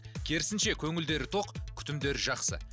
керісінше көңілдері тоқ күтімдері жақсы